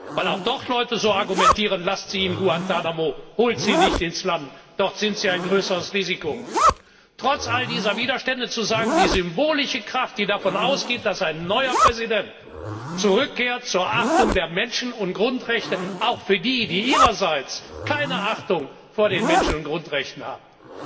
weil auch dort Leute so argumentieren Lasst sie in Guantánamo, holt sie nicht ins Land, dort sind sie ein größeres Risiko trotz all dieser Widerstände zu sagen, die symbolische Kraft, die davon ausgeht, dass ein neuer Präsident zur Achtung der Menschen und Grundrechte zurückkehrt, auch für die, die ihrerseits keine Achtung vor den Menschen und Grundrechten haben.